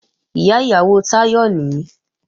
Ìyá ìyàwó Táyọ̀ nìí